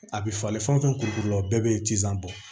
A bɛ falen fɛn o fɛn kuru la o bɛɛ bɛ ci san bɔ